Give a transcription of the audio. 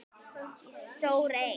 Ég sór eið.